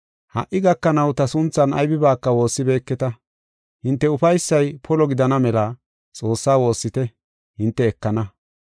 Ha77i gakanaw ta sunthan aybibaaka woossibeketa. Hinte ufaysay polo gidana mela Xoossaa woossite; hinte ekana.